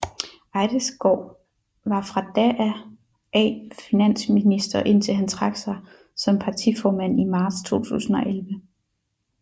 Eidesgaard var fra da af finansminister indtil han trak sig som partiformand i marts 2011